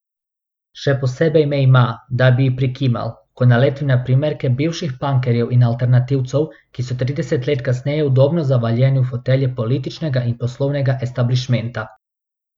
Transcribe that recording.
Še posebej me ima, da bi ji prikimal, ko naletim na primerke bivših pankerjev in alternativcev, ki so trideset let kasneje udobno zavaljeni v fotelje političnega in poslovnega establišmenta.